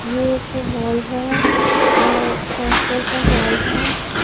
ये एक हॉल है यह हॉस्टल का हॉल है।